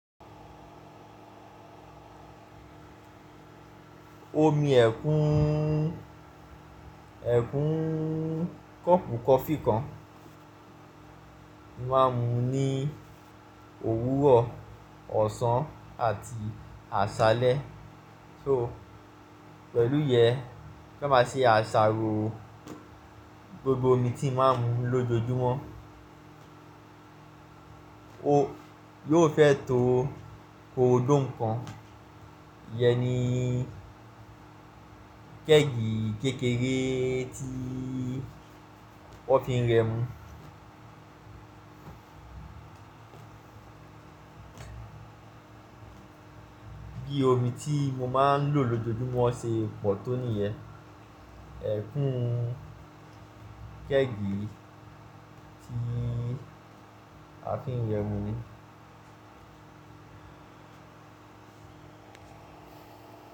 Omi ẹ̀kún, ẹ̀kún kọ́ọ̀pù coffee kan momáa ń mú ní òwúrọ̀, ọ̀sán àti àṣálẹ́. So pẹ̀lú yẹ, kí a má ṣe àṣàrò gbogbo omi tí a máa ń mu lójoojúmọ́. Ó yóò fẹ́ tó gorodomu kan. Iyẹ ní kẹ́gì kékeré tí wọ́n fi ń rẹmu. Bi omi tí mo máa ń lò lójoojúmọ́ ṣe pọ̀ tó níyẹ. Ẹ̀kún kẹ́gì tí a fi ń rẹmu ni.